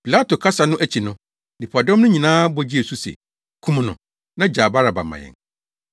Pilato kasa no akyi no, nnipadɔm no nyinaa bɔ gyee so se, “Kum no, na gyaa Baraba ma yɛn.”